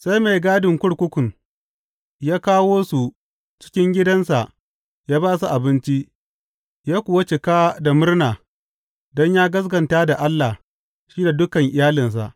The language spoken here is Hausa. Sai mai gadin kurkukun ya kawo su cikin gidansa ya ba su abinci; ya kuwa cika da murna don yă gaskata da Allah, shi da dukan iyalinsa.